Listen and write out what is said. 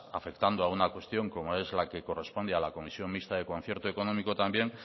afectando a una cuestión como es la que corresponde a la comisión mixta de concierto económico también